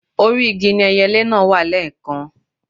Orí igi ni ẹyelé náà wà lẹ́ẹ̀kan